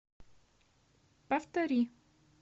повтори